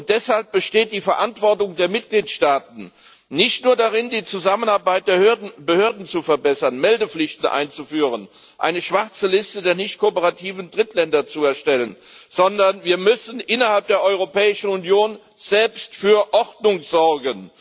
Deshalb besteht die Verantwortung der Mitgliedstaaten nicht nur darin, die Zusammenarbeit der Behörden zu verbessern, Meldepflichten einzuführen, eine schwarze Liste der nicht kooperativen Drittländer zu erstellen, sondern wir müssen innerhalb der Europäischen Union selbst für Ordnung sorgen.